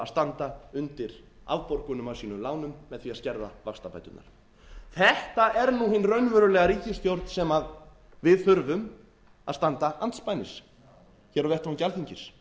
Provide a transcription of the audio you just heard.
standa undir afborgunum af sínum lánum með því að skerða vaxtabæturnar þetta er nú hin raunverulega ríkisstjórn sem við þurfum að standa andspænis hér á vettvangi alþingis